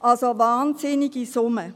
also eine wahnsinnige Summe.